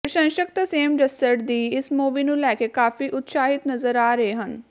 ਪ੍ਰਸ਼ੰਸ਼ਕ ਤਰਸੇਮ ਜੱਸੜ ਦੀ ਇਸ ਮੂਵੀ ਨੂੰ ਲੈ ਕੇ ਕਾਫੀ ਉਤਸ਼ਾਹਿਤ ਨਜ਼ਰ ਆ ਰਹੇ ਹਨ